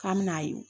K'an me n'a ye